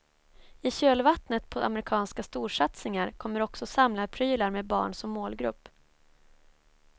I kölvattnet på amerikanska storsatsningar kommer också samlarprylar med barn som målgrupp.